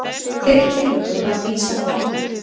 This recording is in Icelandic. Þeirri tillögu var vísað frá